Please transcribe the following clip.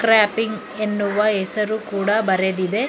ವ್ಯಾಪಿಂಗ್ ಎನ್ನುವ ಎಸರು ಕೂಡ ಬರೆದಿದೆ.